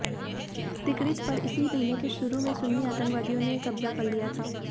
Tikrit पर इसी महीने के शुरू में सुन्नी आतंकवादियों ने कब्जा कर लिया था